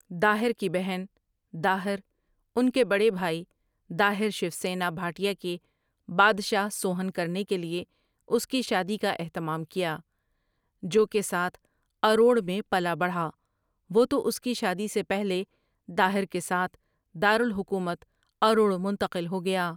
داہر کی بہن، داہر، ان کے بڑے بھائی داہر شوسینا بھاٹیا کے بادشاہ سوہن کرنے کے لیے اس کی شادی کا اہتمام کیا جو کے ساتھ اروڑ میں پلا بڑھا وہ تو اس کی شادی سے پہلے داہر کے ساتھ، دار الحکومت اروڑ منتقل ہو گیا ۔